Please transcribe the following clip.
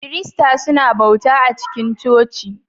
Kiristoci suna bauta a cikin coci